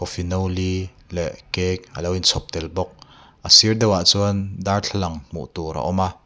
li leh cake alo in chhawp tel bawk a sir deuh ah chuan darthlalang hmuh tur a awm a.